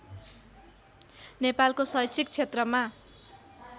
नेपालको शैक्षिक क्षेत्रमा